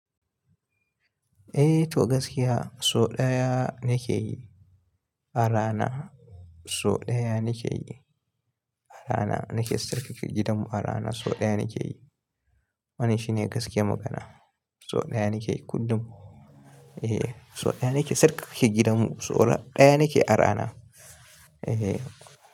Eh to gaskiya so ɗaya ne ke yi ara ana, so ɗaya ne ke yi ara ana, ni ke sarkar ke gidanmu ara ana so ɗaya ne ke yi. Wani shine gasiya magana? So ɗaya ne ke yi kullum. Eh, so ɗaya ne ke sarkar ke gidanmu, so ɗaya ne ke ara ana. Eh.